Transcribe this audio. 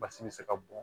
Basi bɛ se ka bɔn